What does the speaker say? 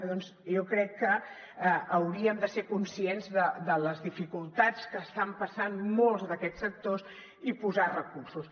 doncs jo crec que hauríem de ser conscients de les dificultats que estan passant molts d’aquests sectors i posar hi recursos